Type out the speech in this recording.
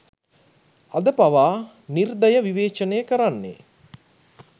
අද පවා නිර්දය විවේචනය කරන්නේ